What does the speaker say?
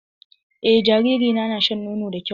Eh jariri na na shan nono da kyau.